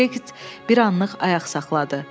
Toby Kret bir anlıq ayaq saxladı.